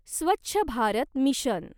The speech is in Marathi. स्वच्छ भारत मिशन